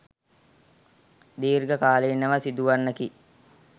දීර්ඝකාලීනව සිදුවන්නකි